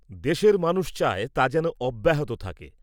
দেশের মানুষ চায়, তা যেন অব্যাহত থাকে।